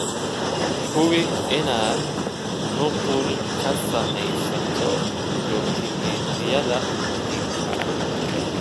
Hubi inaad nuqul ka sameysato dukumentiyada muhiimka ah.